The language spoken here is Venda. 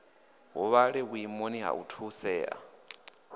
huvhale vhuimoni ha u thusea